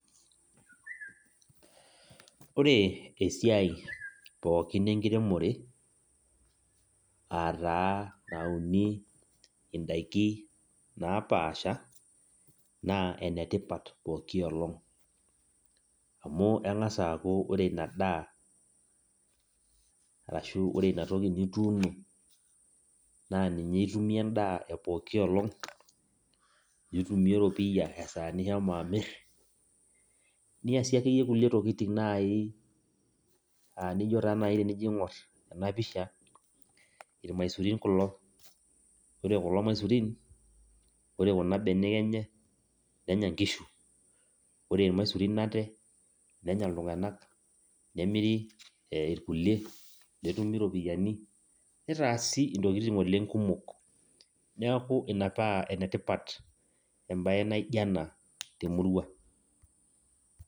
Ore esiai pookin enkiremore aa taa nauni indaikin napaasha naa enetipat pookin olong amu eng'as aaku ore ina daa arashu ore ina toki nituuno naa ninye itumie endaa epooki olong, nitumie eropiyia esaa nishomo amirr niasie akeyie kulie tokitin naai aa inijo taa naai enijo aing'orr ena pisha irmaisurin kulo ore imaisurin ore kuna benek enye nenya inkishu ore irmaisurin ate nenya iltung'anak nemiri ee irkulie netumi iropiyiani, nitaasi intokin oleng' kumok neeku metaa ene tipat embaye naa ijo ena temurua.